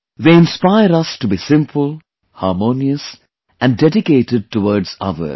They inspire us to be simple, harmonious and dedicated towards others